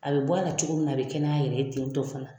A bɛ bɔ a la cogo min na a bɛ kɛnɛya a yɛrɛ ye tentɔ fana.